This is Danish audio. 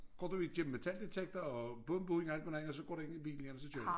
Gå du igennem metaldetektor og bumbum alt muligt andet og så går du ind i bilen igen og så kører vi